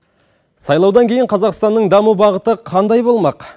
сайлаудан кейін қазақстанның даму бағыты қандай болмақ